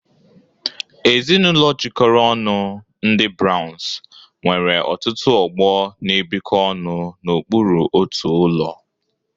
Ezinụlọ jikọrọ ọnụ, ndị Browns, nwere ọtụtụ ọgbọ na-ebikọ ọnụ n'okpuru otu ụlọ.